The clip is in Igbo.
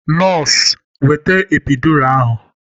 Nọọsụ weta epiidura ahụ!